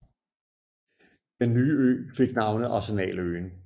Den nye ø fik navnet Arsenaløen